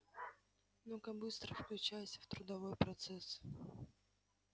ну-ка быстро включайся в трудовой процесс